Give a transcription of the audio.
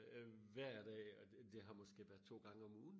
hver dag og det det har måske været to gange om ugen